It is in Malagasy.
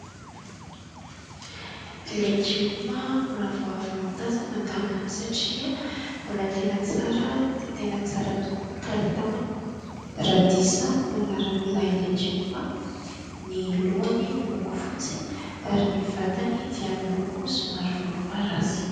Legioma mbola vao avy notazana angamba satria mbola tena tsara dia tena tsara tokoa ny kalitaony. Radisa no anaran'ilay legioma. Ny lohany miloko fotsy ary vatany dia miloko somary volomparasy.